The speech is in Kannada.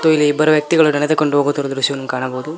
ಮತ್ತು ಇಲ್ಲಿ ಇಬ್ಬರು ವ್ಯಕ್ತಿಗಳು ನೆಡೆದುಕೊಂಡು ಹೋಗುತ್ತಿರುವ ದೃಶ್ಯವನ್ನು ಕಾಣಬಹುದು.